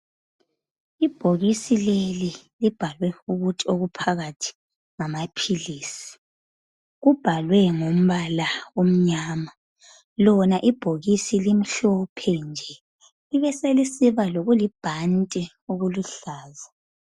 Ibhokisi leli libhalwe ukuthi okuphakathi ngamaphilisi. Kubhalwe ngombala omnyama. Lona ibhokisi limhlophe nje, libe selisiba ngokulibhandi okuluhlaza.